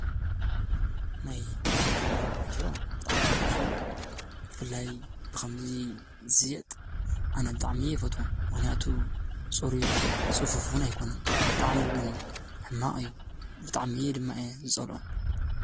ናይ ባልትና ሽሮ ብጣዓሚ ኻብ ዝፀልኦ እዩ። ብፍላይ ብኸምዚ ዝሽየጥ ኣነ ብጣዓሚ የፈቶምን። ምኽንያቱ ፁሩይን ፁፉፉን ኣይኮኑን። ብጣዓሚ እውን ሕማቕ እዩ። ብጣዓሚ ድማ እየ ዝፀልኦም።